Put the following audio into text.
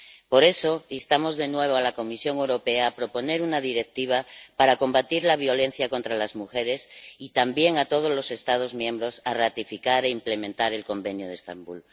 Por eso, instamos de nuevo a la Comisión Europea a que proponga una Directiva para combatir la violencia contra las mujeres y también a todos los Estados miembros a que ratifiquen e implementen el Convenio de Estambul.